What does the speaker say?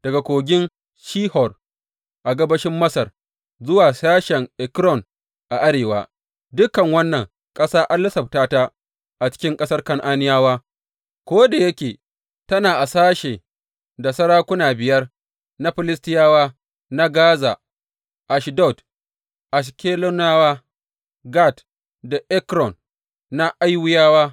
Daga Kogin Shihor a gabashin Masar zuwa sashen Ekron a arewa, dukan wannan ƙasa ana lissafta ta a cikin ƙasar Kan’aniyawa, ko da yake tana a sashen da sarakuna biyar na Filistiyawa na Gaza, Ashdod, Ashkeloniyawa, Gat da Ekron; na Awwiyawa.